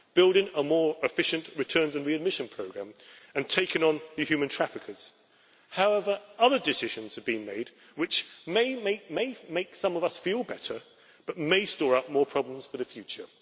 building a more efficient returns and readmission programme, and taking on the human traffickers. However, other decisions have been made which may make some of us feel better but may store up more problems for the future.